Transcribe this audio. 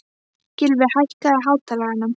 Gylfi, hækkaðu í hátalaranum.